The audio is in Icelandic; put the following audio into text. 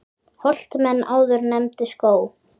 Holt menn áður nefndu skóg.